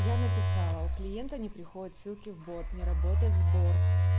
я написала у клиента не приходят ссылки в бот не работает сбор